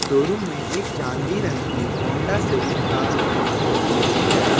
Showroom में एक चांदी रंग की होंडा सिविक कार प्रदर्शित की गई है।